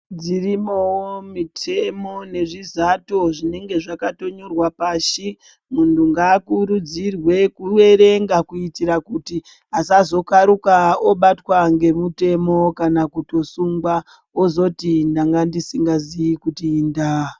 Dzirimowo mitemo nezvizato zvinenge zvakatonyorwa pashi. Munhu ngaakurudzirwe kuerenga kuitira kuti asazokaruka obatwa ngemutemo, kana kutosungwa, ozoti ndanga ndisingaziyi kuti indaa.